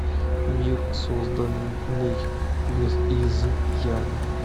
мир созданный без изъяна